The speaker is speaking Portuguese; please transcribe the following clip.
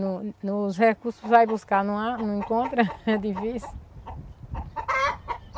No nos recursos, vai buscar, não há, não encontra, é difícil.